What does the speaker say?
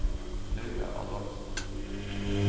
Laura Adolfsen